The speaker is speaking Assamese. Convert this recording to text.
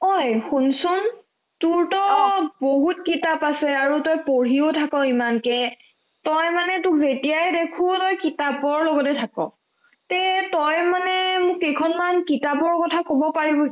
ঐ শুনচোন, তোৰ তাত বহুত কিতাপ আছে আৰু তই পঢ়িও থাক ইমানকে তই মানে তোক যেতিয়াই দেখো তই কিতাপৰ লগতে থাক তে তই মানে মোক কেইখনমান কিতাপৰ কথা ক'ব পাৰিবি